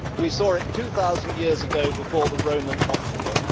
we saw it two thousand years ago before the Roman optimum